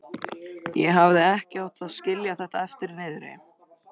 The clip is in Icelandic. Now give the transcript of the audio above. Ég hefði ekki átt að skilja þetta eftir niðri.